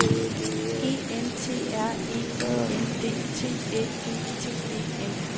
E N T R E I N D T Æ G T E N